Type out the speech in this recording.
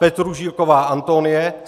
Petružilková Antonie